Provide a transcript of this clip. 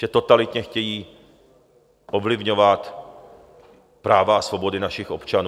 Že totalitně chtějí ovlivňovat práva a svobody našich občanů?